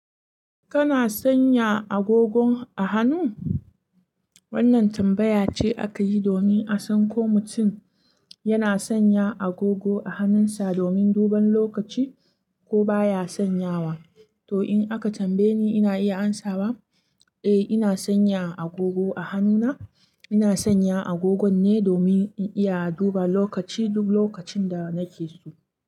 Kana sanya agogo a hannu? Wannan tambaya ce aka yi domin a san ko mutum yana sanya agogo a hannunsa domin duban lokaci ko baya sanyawa. To, in aka tambaye ni, ina iya amsawa, eh, ina sanya agogo a hannuna. Ina sanya agogon ne domin in iya duba lokaci duk lokacin da nake so.